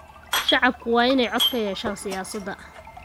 Shacabku waa inay cod ku yeeshaan siyaasadda.